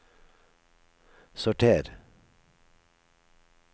sorter